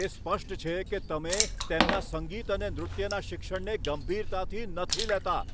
તે સ્પષ્ટ છે કે તમે તેમના સંગીત અને નૃત્યના શિક્ષણને ગંભીરતાથી નથી લેતા.